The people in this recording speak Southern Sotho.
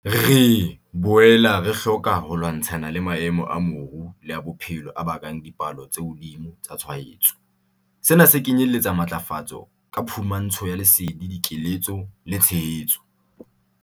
Re boela re hloka ho lwantshana le maemo a moru le a bophelo a bakang dipalo tse hodimo tsa tshwaetso. Sena se kenyeletsa matlafatso ka phumantsho ya lesedi, dikeletso le tshehetso.